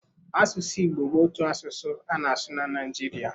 Asụsụ Igbo bụ otu asụsụ a na-asụ na Naịjiria.